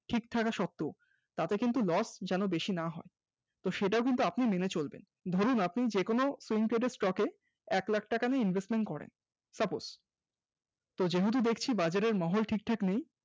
সব ঠিক থাকা সত্ত্বেও তাতে কিন্তু loss বেশি না হয় সেটাও কিন্তু আপনি কিন্তু মেনে চলবেন, ধরুন আপনি যে কোন Intraday stock এ এক lakh টাকা নিয়ে Investment করেন suppose যেহেতু দেখছি বাজারে মহল ঠিক ঠাক নেই